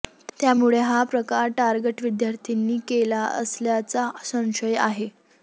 त्यामुळे हा प्रकार टारगट विद्यार्थ्यांनी केला असल्याचा संशय आहे